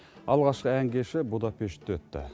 алғашқы ән кеші будапештте өтті